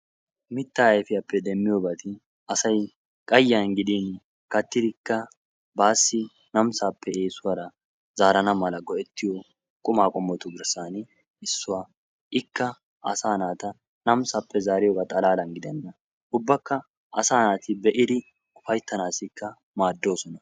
Mitta uafiyappe demmiyoobati asay qayiniyaan gidin kattidikka baassi namisappe eessuwara zaara go''etiyoo quma qommotu besan issuwaa. ikka asaa naata namissappe zaariyooga xalala gidena ubbakka asa naati be'idi ufayttanawukka maaddoosona.